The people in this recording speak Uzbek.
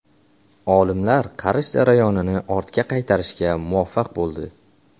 Olimlar qarish jarayonini ortga qaytarishga muvaffaq bo‘ldi.